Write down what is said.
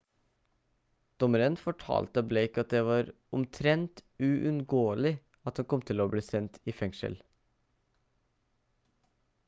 dommeren fortalte blake at det var «omtrent uunngåelig» at han kom til å bli sendt i fengsel